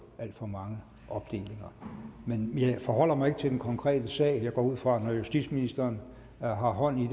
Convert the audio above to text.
alt for mange opdelinger men jeg forholder mig ikke til den konkrete sag jeg går også ud fra at når justitsministeren har hånd i